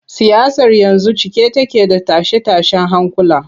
Siyasar yanzu cike take da tashe-tashen hankula.